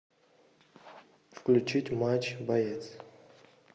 включить матч боец